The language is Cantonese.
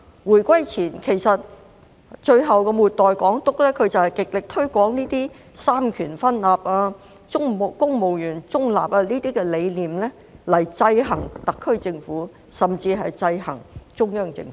回歸前，其實末代港督就是極力推廣這些三權分立、公務員中立等理念來制衡特區政府，甚至是制衡中央政府。